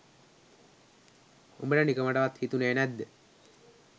උඹට නිකමටවත් හිතුනෙ නැද්ද